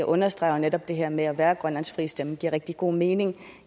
understreger netop at det her med at være grønlands frie stemme giver rigtig god mening